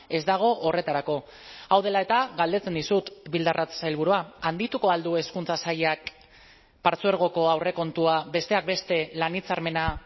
ez dago horretarako hau dela eta galdetzen dizut bildarratz sailburua handituko al du hezkuntza sailak partzuergoko aurrekontua besteak beste lan hitzarmena